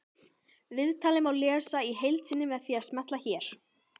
Viðtalið má lesa í heild sinni með því að smella hér